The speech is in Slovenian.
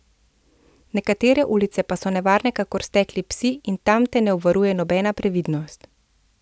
Nekatere ulice pa so nevarne kakor stekli psi in tam te ne obvaruje nobena previdnost.